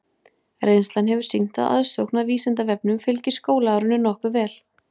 Reynslan hefur sýnt að aðsókn að Vísindavefnum fylgir skólaárinu nokkuð vel.